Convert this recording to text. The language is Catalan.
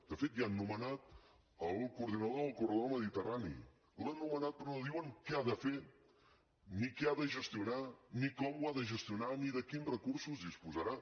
de fet ja han nomenat el coordinador del corredor mediterrani l’han nomenat però no diuen què ha de fer ni què ha de gestionar ni com ho ha de gestionar ni de quins recursos disposarà